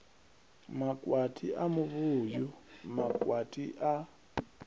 makwati a muvhuyu makwati a